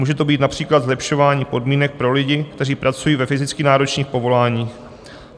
Může to být například zlepšování podmínek pro lidi, kteří pracují ve fyzicky náročných povoláních.